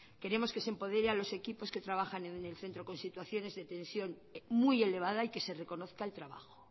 queremos que se empodere a los equipos que trabajan en el centro con situaciones de tensión muy elevada y que se reconozca el trabajo